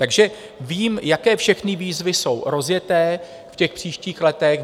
Takže vím, jaké všechny výzvy jsou rozjeté v těch příštích letech.